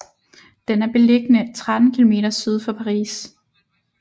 Den er beliggende 13 km syd for Paris